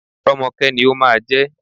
Rọ́mọkẹ́ ni ó máa jẹ́.